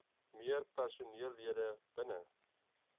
meer personeellede binne